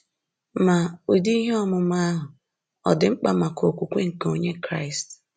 Ma, ụdị ihe ọmụma ahụ ọ̀ dị mkpa maka okwukwe nke Onye Kraịst?